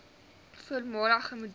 voormalige model